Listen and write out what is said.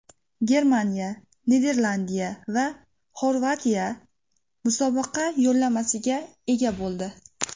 Germaniya, Niderlandiya va Xorvatiya musobaqa yo‘llanmasiga ega bo‘ldi.